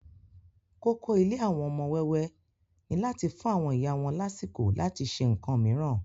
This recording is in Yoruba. Kókó Ilé àwọn ọmọ wẹ́wẹ́ ni láti fùn àwọn iyá wọn lásìkò láti se ǹkan mìíràn